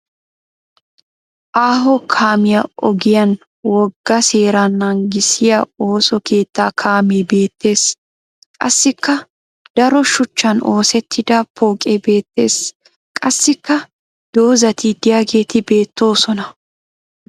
Aaho kaamiya ogiyan wogga seera naagissiya ooso keettaa kaame beettes. Qassikka daro shuchchan oosettida pooqe beettes. Qassikka dozzati de'iyageeti beettoosona.